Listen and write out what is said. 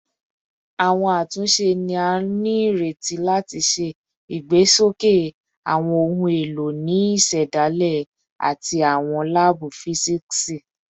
Awọn atunṣe ni a nireti lati ṣe igbesoke awọn ohun elo ni isedale ati awọn laabu fisiksi